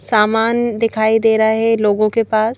सामान दिखाई दे रहा है लोगों के पास--